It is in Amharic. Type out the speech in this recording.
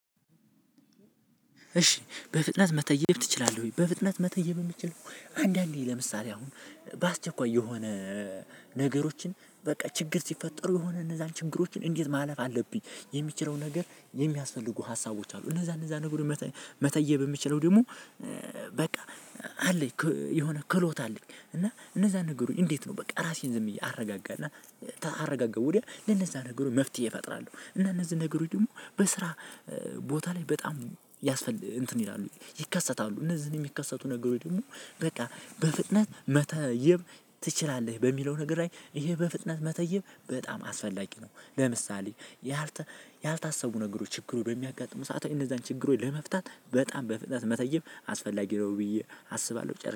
እሺ በፍጥነት መተየብ ትችላለህ ወይ? በፍጥነት መተየብ እምችለው አንዳንዴ ለምሳሌ አሁን በአስቸኳይ የሆነ ነገሮችን በቃ ችግር ሲፈጠሩ የሆነ እነዛን ችግሮችን እንዴት ማለፍ አለብኝ። የሚችለው ነገር የሚያስፈልጉ ሀሳቦች አሉ። እነዛ እነዛ ነገሮች መተየብ እምችለው ደሞ በቃ አለኝ የሆነ ክህሎት አለኝ። እና እነዛ ነገሮች እንዴት ነው በቃ ራሴን ዝም እያረጋጋ እና ተአረጋጋ ወዲያ ለነዛ ነገሩ መፍትሄ እፈጥራለሁ። እና እነዚህ ነገሮች ደሞ በስራ ቦታ ላይ በጣም ያስፈልግ እንትን ይላሉ ይከሰታሉ። እነዚህን እሚከሰቱ ነገሮኝ ደግሞ በቃ በፍጥነት መተየብ ትችላለህ? በሚለው ነገር ላይ ይሄ በፍጥነት መተየብ በጣም አስፈላጊ ነው። ለምሳሌ ያልታሰቡ ነገሮች ችግሩ በሚያጋጥሙ ሰዓት እነዛን ችግሮች ለመፍታት በጣም በፍጥነት መተየብ አስፈላጊ ነው ብዬ አስባለሁ። ጨር